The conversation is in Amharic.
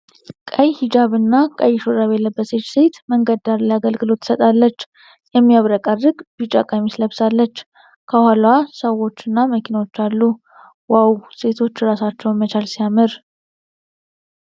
ቀይ ሂጃብና ቀይ ሹራብ የለበሰች ሴት መንገድ ዳር ላይ አገልግሎት ትሰጣለች። የሚያብረቀርቅ ቢጫ ቀሚስ ለብሳለች። ከኋላዋ ሰዎችና መኪኖች አሉ። "ዋው! ሴቶች ራሳቸውን መቻል ሲያምር!"